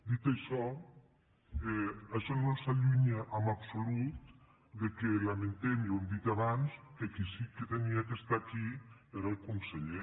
dit això això no ens allunya en absolut que lamentem i ho hem dit abans que el qui sí que havia d’estar aquí era el conseller